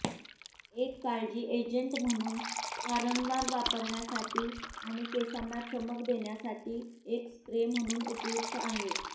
एक काळजी एजंट म्हणून वारंवार वापरण्यासाठी आणि केसांना चमक देण्यासाठी एक स्प्रे म्हणून उपयुक्त आहे